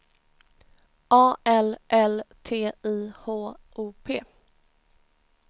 A L L T I H O P